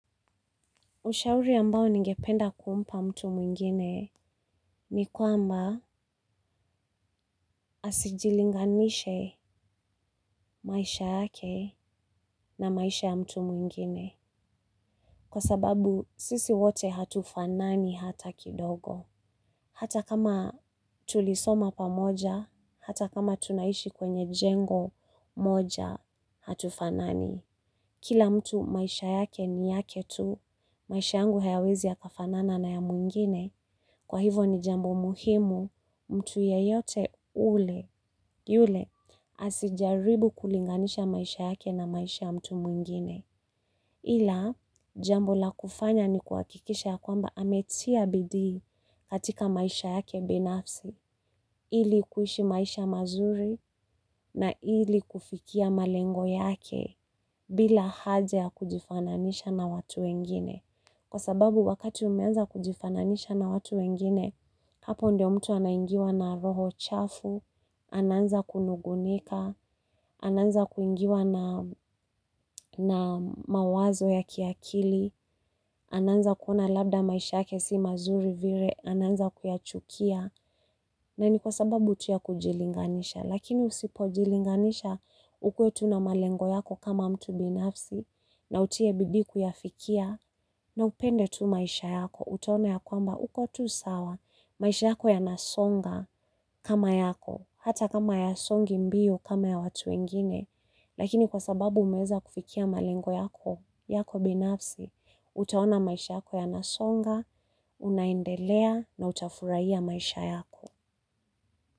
Ushauri ambao ningependa kumpa mtu mwingine ni kwamba asijilinganishe maisha yake na maisha ya mtu mwingine. Kwa sababu sisi wote hatufanani hata kidogo. Hata kama tulisoma pamoja, hata kama tunaishi kwenye jengo moja hatufanani. Kila mtu maisha yake ni yake tu, maisha yangu hayawezi yakafanana na ya mwingine. Kwa hivo ni jambo muhimu, mtu yeyote ule, yule, asijaribu kulinganisha maisha yake na maisha mtu mwingine. Ila, jambo la kufanya ni kuhakikisha ya kwamba ametia bidii katika maisha yake binafsi, ili kuishi maisha mazuri na ili kufikia malengo yake bila haja ya kujifananisha na watu wengine. Kwa sababu wakati umeanza kujifananisha na watu wengine, hapo ndio mtu anaingiwa na roho chafu, anaanza kunugunika, anaanza kuingiwa na na mawazo ya kiakili, ana anza kuona labda maisha yake si mazuri vile, anaanza kuyachukia. Na ni kwa sababu tu ya kujilinganisha, lakini usipojilinganisha, ukuwe tu na malengo yako kama mtu binafsi, na utie bidii kuyafikia, na upende tu maisha yako, utaona ya kwamba uko tu sawa, maisha yako yanasonga kama yako, hata kama hayasongi mbio kama ya watu wengine. Lakini kwa sababu umeweza kufikia malengo yako, yako binafsi, utaona maisha yako yanasonga, unaendelea na utafurahia maisha yako.